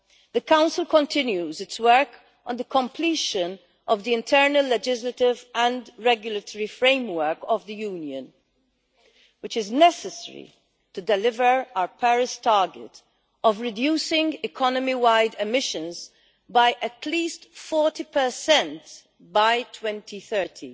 The Council is continuing its work on the completion of the internal legislative and regulatory framework of the Union, which is necessary to deliver our Paris target of reducing economy-wide emissions by at least 40 by 2030.